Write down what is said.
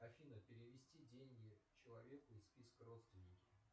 афина перевести деньги человеку из списка родственники